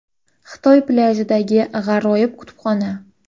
Xitoy plyajidagi g‘aroyib kutubxona .